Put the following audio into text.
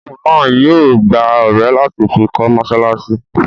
Imáamù náà yóò gbá ọrẹ láti fi kọ́ mọ́sálásí